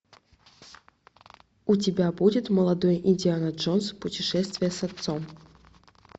у тебя будет молодой индиана джонс путешествие с отцом